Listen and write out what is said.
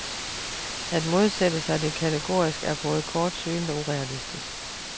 At modsætte sig det kategorisk, er både kortsynet og urealistisk.